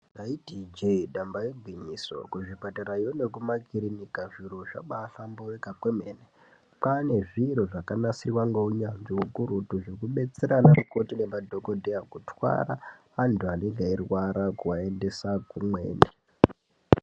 Taiti i jee damba igwinyiso kuzvipatarayo nekuma kirinika zviro zvaba famboita kwemene kwaane zviro zvakanasirwa ngekunyazvi hukurutu zvino detsera vakoti nema dhodheya kutwara antu anorwara kuaendesa kumweni.